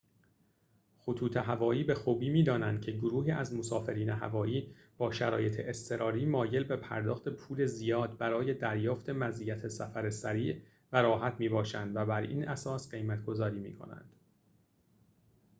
خطوط هوایی به خوبی می‌دانند که گروهی از مسافرین هوایی با شرایط اضطراری مایل به پرداخت پول زیاد برای دریافت مزیت سفر سریع و راحت می‌باشند و بر این اساس قیمت‌گذاری می‌کنند